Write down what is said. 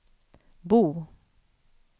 Bo